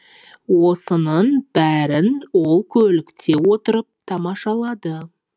осының бәрін ол көлікте отырып тамашалады